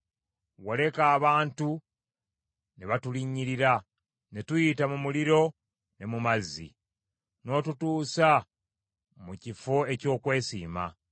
Waleka abantu ne batulinnyirira; ne tuyita mu muliro ne mu mazzi, n’otutuusa mu kifo eky’okwesiima.